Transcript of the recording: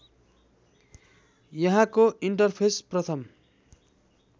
यहाँको इन्टरफेस प्रथम